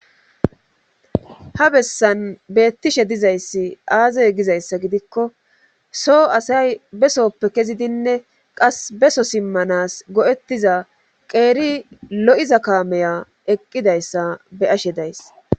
Ha bessan beettishe dizayssi aazey gizayssa gidikko so asay besoppe kezidinne qas beso simmanas go'ettiza qeeri lo'iza kaameya eqqidayssa be ashe days